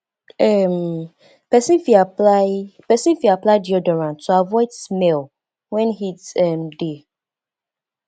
um persin fit apply persin fit apply deoderant to avoid smell when heat um de